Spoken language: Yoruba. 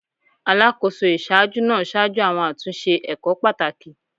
Alakoso iṣaaju naa ṣaju awọn atunṣe ẹkọ pataki